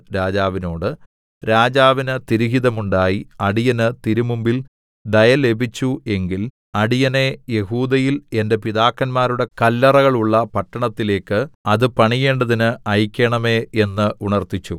രാജാവിനോട് രാജാവിന് തിരുഹിതമുണ്ടായി അടിയന് തിരുമുമ്പിൽ ദയ ലഭിച്ചു എങ്കിൽ അടിയനെ യെഹൂദയിൽ എന്റെ പിതാക്കന്മാരുടെ കല്ലറകളുള്ള പട്ടണത്തിലേക്ക് അത് പണിയേണ്ടതിന് അയക്കേണമേ എന്ന് ഉണർത്തിച്ചു